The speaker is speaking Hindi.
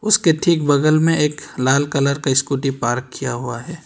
उसके ठीक बगल में एक लाल कलर का स्कूटी पार्क किया हुआ है।